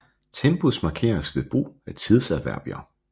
Tempus markeres ved brug af tidsadverbier